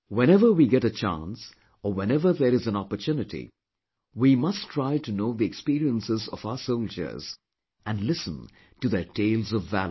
Whenever we get a chance or whenever there is an opportunity we must try to know the experiences of our soldiers and listen to their tales of valour